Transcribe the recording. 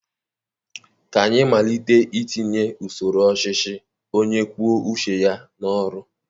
Ka anyị malite itinye usoro ọchịchị onye kwuọ uche ya n'ọrụ.